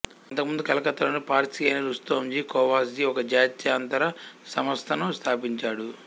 అంతకుముందు కలకత్తాలోని పార్సీ అయిన రుస్తోంజీ కోవాస్జీ ఒక జాత్యంతర సంస్థను స్థాపించాడు